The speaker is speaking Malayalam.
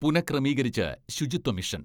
പുനഃക്രമീകരിച്ച് ശുചിത്വ മിഷൻ